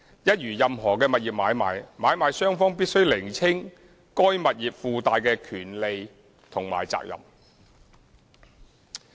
一如任何物業買賣，買賣雙方必須釐清該物業附帶的權利和責任。